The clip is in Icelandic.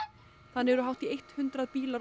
þannig eru hátt í eitt hundrað bílar